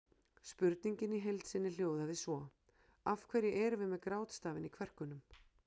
Spurningin í heild sinni hljóðaði svo: Af hverju erum við með grátstafinn í kverkunum?